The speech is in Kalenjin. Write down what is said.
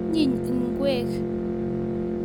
Onyiny ingwek